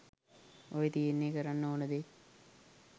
ඔය තියෙන්නේ කරන්න ඕන දේ